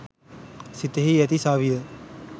සිතෙහි ඇති සවිය